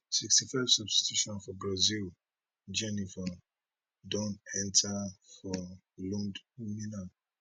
sixty five substitution for brazil jheniffer don enta for ludmila